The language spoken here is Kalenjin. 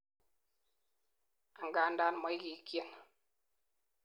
angandan moigikyin